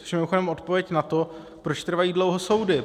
Což je mimochodem odpověď na to, proč trvají dlouho soudy.